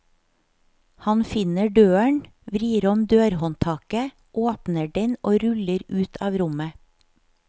Han finner døren, vrir om dørhåndtaket, åpner den og ruller ut av rommet.